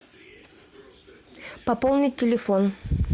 пополнить телефон